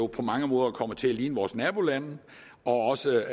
på mange måder kommer til i vores nabolande og også